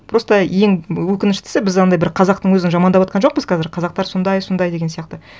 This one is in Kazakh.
просто ең өкініштісі біз анандай бір қазақтың өзін жамандаватқан жоқпыз қазір қазақтар сондай сондай деген сияқты